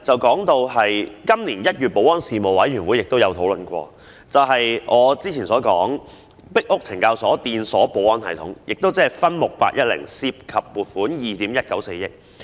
今年1月，保安事務委員會亦曾討論閉路電視系統，即我之前所說的"壁屋懲教所裝置電鎖保安系統"，項目 810， 涉及撥款2億 1,940 萬元。